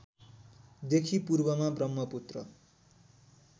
देखि पूर्वमा ब्रम्हपुत्र